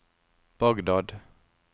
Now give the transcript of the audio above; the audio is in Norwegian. Bagdad